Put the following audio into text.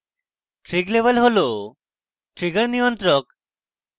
trig level হল trigger নিয়ন্ত্রক